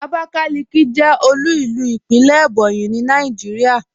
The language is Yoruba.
Abakaliki jẹ́ òlu ilú ìpínlẹ̀ Ebonyi ní Nàìjíríà.